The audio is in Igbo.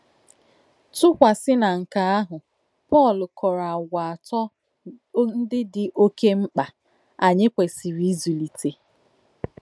Tùkwàsí nà nké àhụ̀, Pọ́l kọ̀rò àgwà atọ́ ńdí dì òkè m̀kpà ányị̀ kwèsìrì ízùlìté.